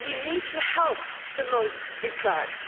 We need to help the most deprived.